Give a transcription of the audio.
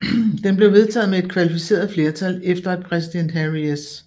Den blev vedtaget med et kvalificeret flertal efter at præsident Harry S